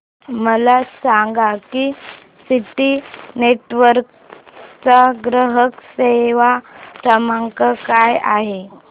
मला सांगा की सिटी नेटवर्क्स चा ग्राहक सेवा क्रमांक काय आहे